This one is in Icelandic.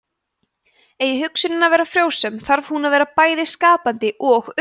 eigi hugsunin að vera frjósöm þarf hún að vera bæði skapandi og öguð